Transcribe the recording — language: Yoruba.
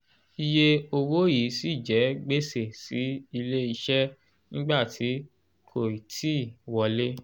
iye owó yìí ṣì jẹ́ gbèsè sí ilé iṣẹ́ nígbà tí kò ì tíì wọlé